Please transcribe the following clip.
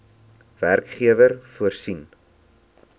werkgewer voorsien